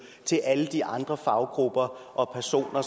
til alle de andre faggrupper og personer